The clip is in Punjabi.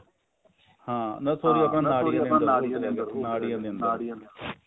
ਹਾਂ ਨਾ sorry ਆਪਣਾ ਨਾੜੀਆਂ ਦੇ ਅੰਦਰ ਉਹ ਨਾੜੀਆਂ ਦੇ ਅੰਦਰ